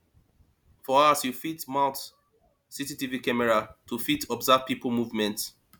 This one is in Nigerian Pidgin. for house you fit mount cctv camera to fit observe pipo movement